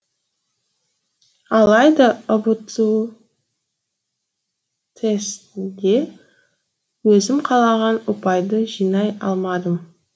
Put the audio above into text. алайда ұбту тестінде өзім қалаған ұпайды жинай алмадым